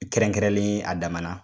Kɛrɛnkɛrɛnlen ye a damana